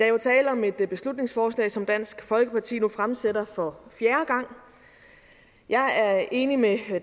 er jo tale om et beslutningsforslag som dansk folkeparti nu fremsætter for fjerde gang jeg er enig med